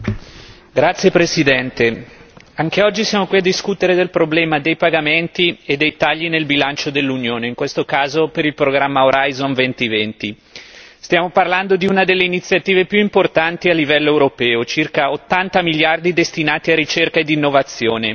Signor Presidente, onorevoli colleghi, anche oggi siamo qui a discutere del problema dei pagamenti e dei tagli nel bilancio dell'Unione, in questo caso per il programma Horizon 2020. Stiamo parlando di una delle iniziative più importanti a livello europeo, circa ottanta miliardi destinati a ricerca ed innovazione.